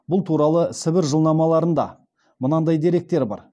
бұл туралы сібір жылнамаларында мынадай деректер бар